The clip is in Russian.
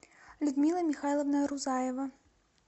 людмила михайловна рузаева